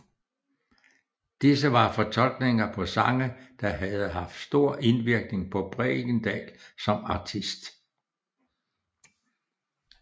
Disse var fortolkninger på sange der havde haft en stor indvirkning på Bregendal som artist